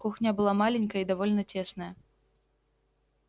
кухня была маленькая и довольно тесная